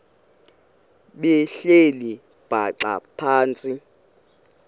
behleli bhaxa phantsi